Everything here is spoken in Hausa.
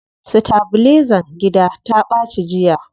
Sitabilizan gida ta ɓaci jiya.